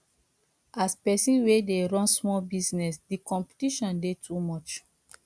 as pesin wey dey run small business di competition dey too much